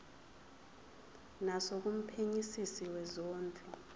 naso kumphenyisisi wezondlo